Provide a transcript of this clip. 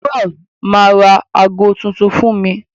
Jewel ma ra agọ tuntun fún mí.